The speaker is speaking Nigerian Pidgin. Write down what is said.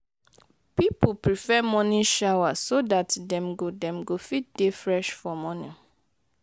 pipo prefer morning shower so dat dem go dem go fit dey fresh for morning